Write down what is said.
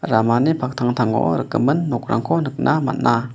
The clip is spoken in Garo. ramani paktangtango rikgimin nokrangko nikna man·a.